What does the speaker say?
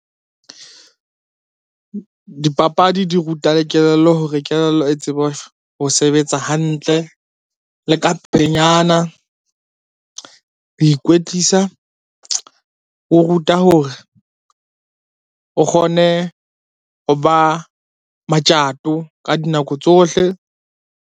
Dipapadi di ruta le kelello hore kelello e tsebe ho sebetsa hantle, le ka pelenyana. Ho ikwetlisa o ruta hore o kgone ho ba matjato ka dinako tsohle.